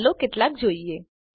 ચાલો કેટલાક જોઈએ